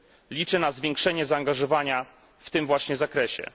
Liczę na zwiększenie zaangażowania w tym właśnie zakresie.